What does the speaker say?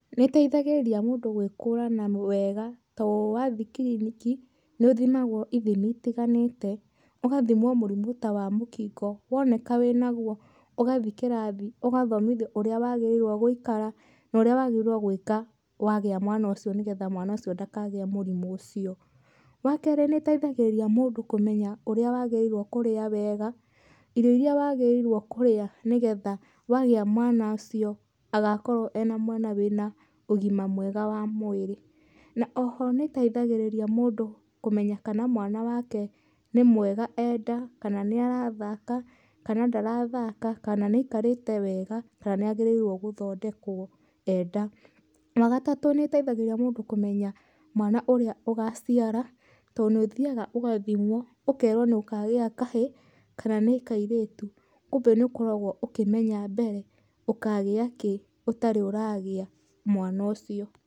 Nĩ ĩteithagĩria mũndũ gwĩkũrana wega to wathĩĩ kiriniki nĩũthimagwo ithimi ĩtiganĩte, ũgathimwo mũrimũ ta wa mũkingo woneka wĩnaguo ũgathĩĩ kĩrathi ũgathomithio ũrĩa wagĩrĩirwo gũikara nũrĩa wagĩrĩirwo gwĩka wagĩa mwana ucio nĩgetha mwana ũcio ndakagie mũrimũ ũcio. Wa kerĩ nĩ ũteithagĩrĩria mũndũ kũmenya ũrĩa wagĩrĩirwo kũrĩa wega, irio iria wagĩrĩirwo kũrĩa nĩgetha wagĩa mwana ũcio agakorwo e mwana wĩna ũgima mwega wa mwĩrĩ. Na oho nĩteĩthagĩrĩria mũndũ kũmenya kana mwana wake nĩ mwega e nda kana nĩ arathaka kana ndarathaka kana nĩ aikarĩte wega kana nĩ agĩrĩirwo gũthondekwo e nda. Wa gatatũ nĩ ĩteithagĩrĩria mũndũ kũmenya mwana ũrĩa ũgaciara to nĩ ũthiyaga ũgathimwo ũkerwo nĩ ũkagĩa kahĩĩ kana nĩ kairĩtu. Kumbe nĩ ũkoragwo ũkĩmenya mbere ũkagĩa kĩ ũtarĩ ũragĩa mwana ũcio.